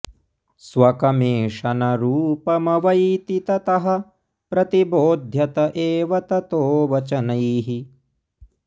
स्वकमेष न रूपमवैति ततः प्रतिबोध्यत एव ततो वचनैः